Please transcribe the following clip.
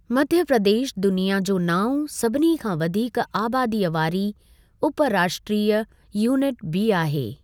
मध्य प्रदेश दुनिया जो नाओं सभिनी खां वधीक आबादीअ वारी उपराष्ट्रीय यूनिट बि आहे।